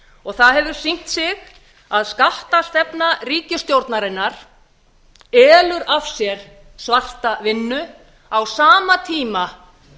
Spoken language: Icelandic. og það hefur sýnt sig að skattstefna ríkisstjórnarinnar elur af sér svarta vinnu á sama tíma